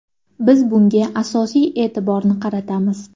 Biz bunga asosiy e’tiborni qaratamiz.